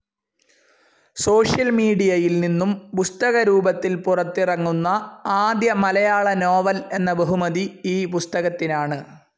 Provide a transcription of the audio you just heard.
Social മീഡിയയിൽ നിന്നും പുസ്തകരൂപത്തിൽ പുറത്തിറങ്ങുന്ന ആദ്യ മലയാള നോവൽ എന്ന ബഹുമതി ഈ പുസ്തകത്തിനാണ്.